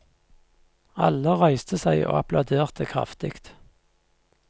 Alle reiste seg og applauderte kraftig.